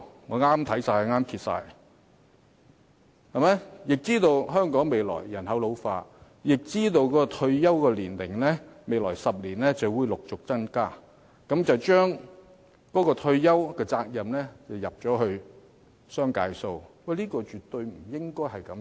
我們已知道香港未來將有人口老化的問題，也知道未來10年的退休年齡將會陸續增加，但政府卻把退休責任推在僱主身上，這是絕對不應該的。